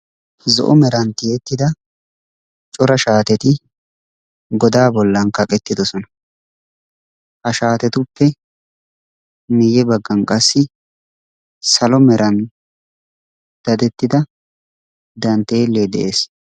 Zo'o meran tiyyettida cora shaateti godaa bollan kaqqetidoosona. Ha shaatetuppe miyye baggan qasi salo meeran daddettida danttelee de'ees.